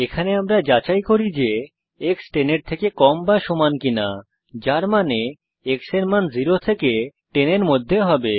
এখানে আমরা যাচাই করি যে এক্স 10 এর থেকে কম বা সমান কিনা যার মানে x এর মান 0 থেকে 10 এর মধ্যে হবে